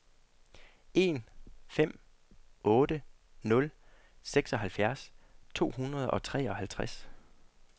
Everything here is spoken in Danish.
en fem otte nul seksoghalvfjerds to hundrede og treoghalvtreds